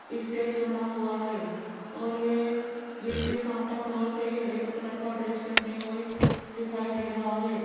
Stage बना हुआ है और ये बीच में सांता क्लास है रेड कलर का ड्रेस पहने हुए दिखाई दे रहा है।